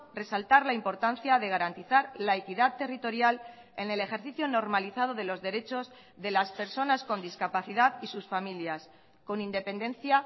resaltar la importancia de garantizar la equidad territorial en el ejercicio normalizado de los derechos de las personas con discapacidad y sus familias con independencia